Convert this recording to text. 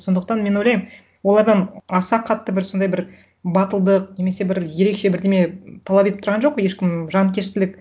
сондықтан мен ойлаймын олардан аса қатты бір сондай бір батылдық немесе бір ерекше бірдеме талап етіп тұрған жоқ ешкім жанкештілік